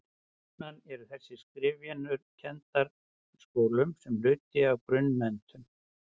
jafnan eru þessar skriftarvenjur kenndar í skólum sem hluti af grunnmenntun